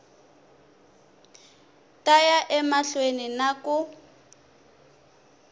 ta ya emahlweni na ku